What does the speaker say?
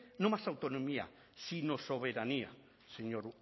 no más autonomía sino soberanía señor